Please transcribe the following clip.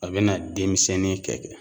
A bena denmisɛnnin kɛ kɛ